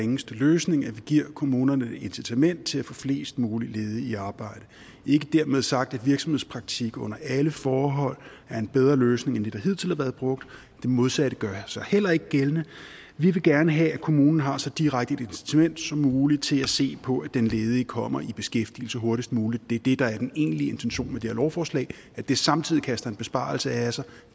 ringeste løsning at vi giver kommunerne et incitament til at få flest mulige ledige i arbejde ikke dermed sagt at virksomhedspraktik under alle forhold er en bedre løsning end det der hidtil har været brugt det modsatte gør sig heller ikke gældende vi vil gerne have at kommunerne har så direkte et incitament som muligt til at se på at den ledige kommer i beskæftigelse hurtigst muligt det er det der er den egentlige intention med det her lovforslag at det samtidig kaster en besparelse af sig